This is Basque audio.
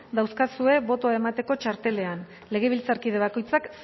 daukazue botoa emateko txartelean legebiltzarkide bakoitzak